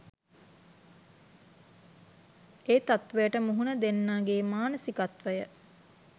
ඒ තත්වයට මුහුණ දෙන්නගේ මානසිකත්වය